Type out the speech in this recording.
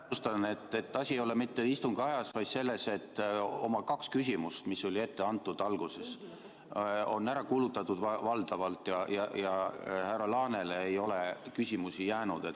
Täpsustan, et asi ei ole mitte istungi ajas, vaid selles, et oma kaks küsimust, mis oli alguses ette antud, on valdavalt ära kulutatud ja härra Laanele ei ole küsimusi jäänud.